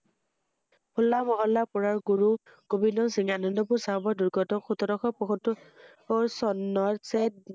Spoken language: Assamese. হোল্লা মহল্লাৰ পুুৰৰ গুৰু গোবিন্দ সিং আনন্দপুৰ চাহাবৰ দূ্ৰ্গটো সোতৰশ পয়স~ত্তৰ চনৰ চেট